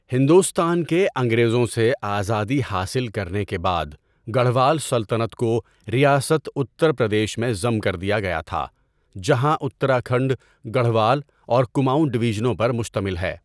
ہندوستان کے انگریزوں سے آزادی حاصل کرنے کے بعد گڑھوال سلطنت کو ریاست اتر پردیش میں ضم کر دیا گیا تھا، جہاں اتراکھنڈ گڑھوال اور کماؤں ڈویژنوں پر مشتمل ہے۔